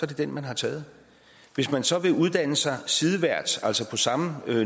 det den man har taget hvis man så vil uddanne sig sideværts altså på samme